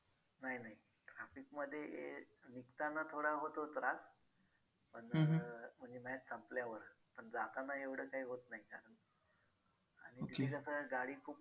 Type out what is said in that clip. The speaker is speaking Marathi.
नाही नाही traffic मध्ये हे निघताना थोडा होतो त्रास पण म्हणजे match संपल्यावर पण जाताना एवढं काय होत नाही. तिथं कसं गाडी खूप